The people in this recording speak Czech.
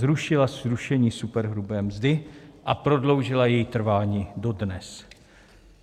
Zrušila zrušení superhrubé mzdy a prodloužila její trvání dodnes.